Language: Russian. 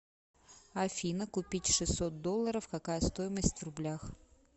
афина купить шестьсот долларов какая стоимость в рублях